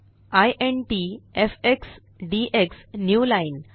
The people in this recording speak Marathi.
int FX DX newline